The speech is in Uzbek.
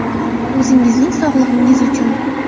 O‘zingizning sog‘lig‘ingiz uchun.